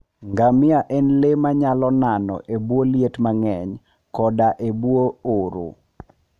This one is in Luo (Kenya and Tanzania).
ngamia en le manyalo nano e bwo liet mang'eny koda e bwo oro.